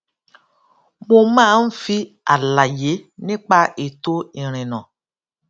mo máa ń fi àlàyé nípa ètò ìrìnnà